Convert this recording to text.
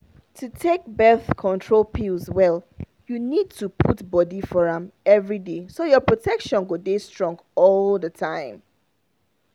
to take birth control pills well you need to put body for am everyday so your protection go dey strong all the time.